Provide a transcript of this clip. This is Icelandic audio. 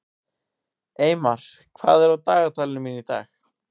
Eymar, hvað er á dagatalinu mínu í dag?